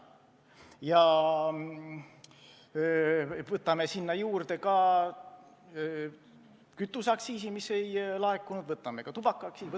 Ja võtame sinna juurde ka kütuseaktsiisi, mis ei laekunud, võtame ka tubakaaktsiisi!